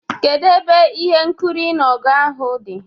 Kedu ebe ihe nkiri ịnụ ọgụ ahụ dị?